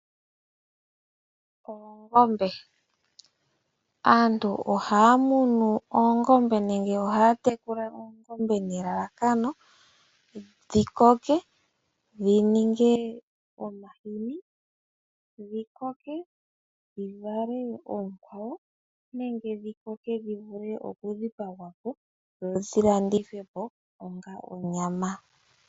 Oongombe, aantu ohaya munu oongombe nenge ohaya tekula oongombe nelalakano dhi koke dhi ninge omahini, dhi koke dhi vale oonkwawo, nenge dhi koke dhi vule okudhipagwa po dho dhi landithwe po onga onyama.